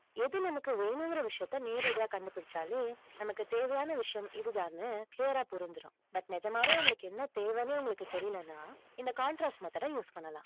எது நமக்கு வேணுங்கிற விஷயத்தை நேரடியா கண்டுபிடிச்சாலே, நமக்கு தேவையான விஷயம், இதுதான்னு clear ஆ புரிஞ்சிரும் but நிஜமாவே உங்களுக்கு என்ன தேவைன்னே உங்களுக்கு தெரியலைன்னா, இந்த contrastmethod use பண்ணலாம்.